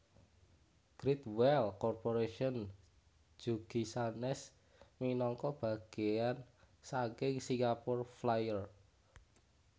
Great Wheel Corporation jugi sanes minangka bageyan saking Singapore Flyer